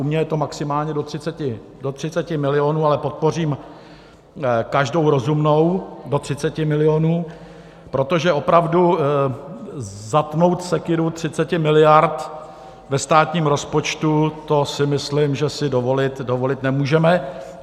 U mě je to maximálně do 30 milionů, ale podpořím každou rozumnou do 30 milionů, protože opravdu zatnout sekyru 30 miliard ve státním rozpočtu, to si myslím, že si dovolit nemůžeme.